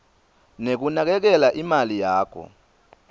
nekunakekela imali yakho